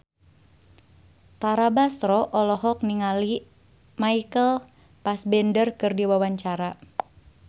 Tara Basro olohok ningali Michael Fassbender keur diwawancara